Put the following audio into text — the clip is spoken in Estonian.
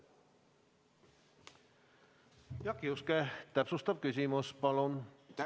Jaak Juske, täpsustav küsimus palun!